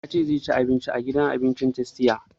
Ya ce zai ci abinci a gidan abinci na tastia